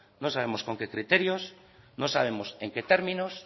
no sabemos con qué criterios no sabemos en qué términos